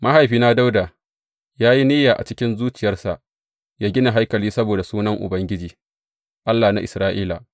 Mahaifina Dawuda ya yi niyya a cikin zuciyarsa yă gina haikali saboda Sunan Ubangiji, Allah na Isra’ila.